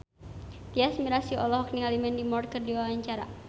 Tyas Mirasih olohok ningali Mandy Moore keur diwawancara